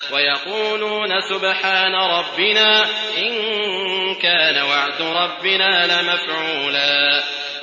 وَيَقُولُونَ سُبْحَانَ رَبِّنَا إِن كَانَ وَعْدُ رَبِّنَا لَمَفْعُولًا